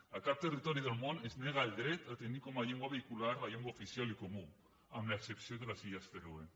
a cap territori del món es nega el dret a tenir com a llengua vehicular la llengua oficial i comuna amb l’excepció de les illes fèroe